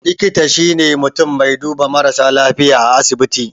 Likita shine mutun mai duba marasa lafiya a asibiti